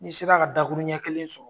Ni sera ka dakuru ɲɛ kelen sɔrɔ